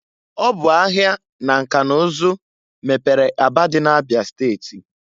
Ọ bụ ahia na nka n'ụzụ mepere Aba dị na Abịa steti.